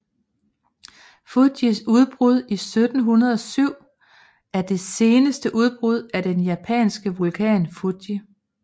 Fujis udbrud 1707 er det seneste udbrud af den japanske vulkan Fuji